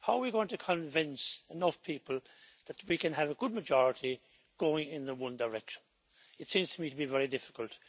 How are we going to convince enough people that we can have a good majority going in the one direction? It seems to me to be very difficult.